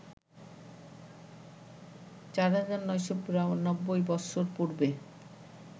৪,৯৯২ বৎসর পূর্বে